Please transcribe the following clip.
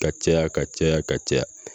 Ka caya ka caya ka caya